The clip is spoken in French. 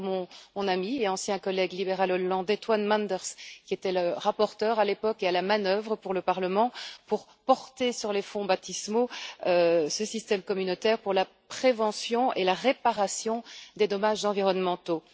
C'est d'ailleurs mon ami et ancien collègue libéral hollandais, Toine Manders, qui était le rapporteur à l'époque et à la manœuvre pour le Parlement, pour porter sur les fonts baptismaux ce système communautaire pour la prévention et la réparation des dommages environnementaux.